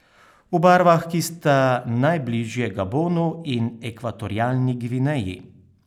V barvah, ki sta najbližje Gabonu in Ekvatorialni Gvineji.